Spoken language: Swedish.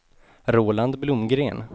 Roland Blomgren